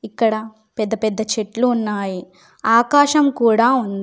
ఇక్కడ పెద్ద పెద్ద చెట్లు ఉన్నాయి ఆకాశం కూడా ఉంది.